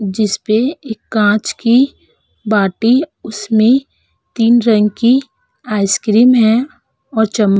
जिस पे एक कांच की बाटी उसमें तीन रंग की आइसक्रीम है और चम --